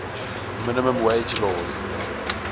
minimum wage laws